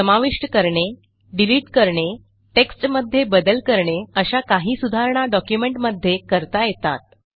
समाविष्ट करणे डिलिट करणे टेक्स्टमध्ये बदल करणे अशा काही सुधारणा डॉक्युमेंटमध्ये करता येतात